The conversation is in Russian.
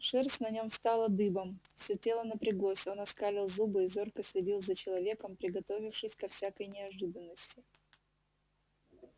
шерсть на нём встала дыбом всё тело напряглось он оскалил зубы и зорко следил за человеком приготовившись ко всякой неожиданности